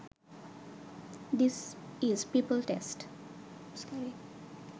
this is people's test